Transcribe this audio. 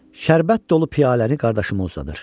Şərbət dolu piyaləni qardaşıma uzadır.